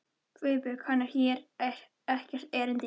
GUÐBJÖRG: Hann á hér ekkert erindi.